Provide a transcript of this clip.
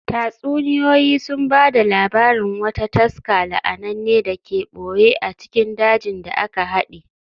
Tatsuniyoyi sun ba da labarin wata taska la'ananne da ke ɓoye a cikin dajin da aka haɗe.